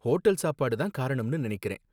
hotel சாப்பாடு தான் காரணம்னு நினைக்கிறேன்